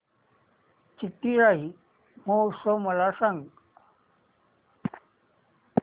चिथिराई महोत्सव मला सांग